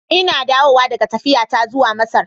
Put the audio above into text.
Ina dawowa daga tafiyata zuwa Masar.